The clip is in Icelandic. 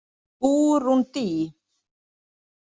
Búrúndí